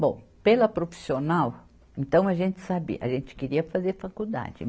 Bom, pela profissional, então a gente sabia, a gente queria fazer faculdade.